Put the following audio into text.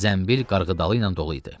Zənbil qarğıdalı ilə dolu idi.